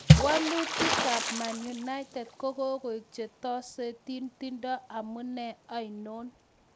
Wolitikab Man United kokogoik che tesotin, tindo amune oinon?